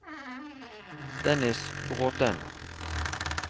Dennis Bråthen